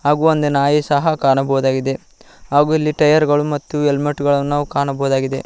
ಹಾಗು ಒಂದು ನಾಯಿ ಸಹ ಕಾಣಬಹುದಾಗಿದೆ ಹಾಗು ಇಲ್ಲಿ ಟೈಯರ್ ಗಳು ಹಾಗು ಹೆಲ್ಮೆಟ್ ಗಳನ್ನು ನಾವು ಕಾಣಬಹುದಾಗಿದೆ.